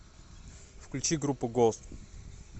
включи группу гост